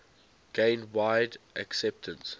gained wide acceptance